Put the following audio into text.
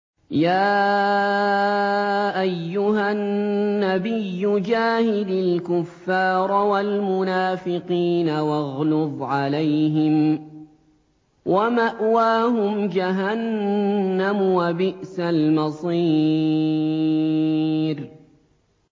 يَا أَيُّهَا النَّبِيُّ جَاهِدِ الْكُفَّارَ وَالْمُنَافِقِينَ وَاغْلُظْ عَلَيْهِمْ ۚ وَمَأْوَاهُمْ جَهَنَّمُ ۖ وَبِئْسَ الْمَصِيرُ